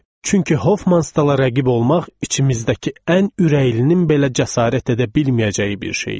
Çünki Hoffmanstala rəqib olmaq içimizdəki ən ürəklilərin belə cəsarət edə bilməyəcəyi bir şey idi.